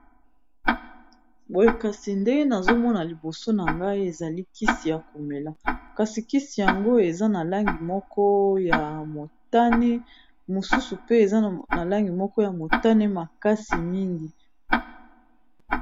Boye kasi nde nazomona liboso na ngai ezali kisi ya komela kasi kisi yango eza na langi moko ya motane, mosusu pe eza na langi moko ya motane makasi mingi.